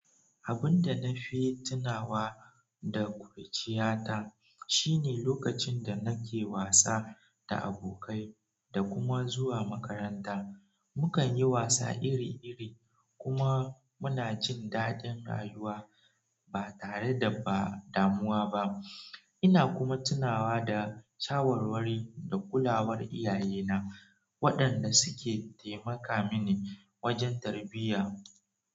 Abun da nafi tunawa da kuruciya ta shine lokacin da nake wasa da abokai da kuma zuwa makaranta mukanyi wasa iri iri kuma munajin dadin rayuwa ba tare da damuwa ba ina kuma tunawa da shawarwari da kulawar iyayena waɗanda suke taimaka mini wajen tarbiyya.